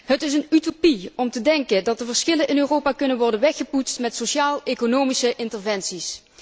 Het is een utopie om te denken dat de verschillen in Europa kunnen worden weggepoetst met sociaaleconomische interventies.